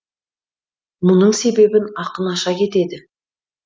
мұның себебін ақын аша кетеді